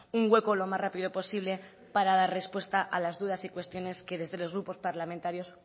un hueco lo más rápido posible para dar respuesta a las dudas y cuestiones que desde los grupos parlamentarios